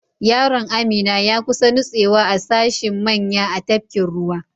Yaron Amina ya kusa nutsewa a sashin manya a tafkin ruwa.